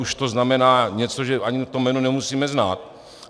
Už to znamená něco, že ani to jméno nemusíme znát.